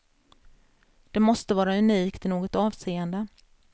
Det måste vara unikt i något avseende.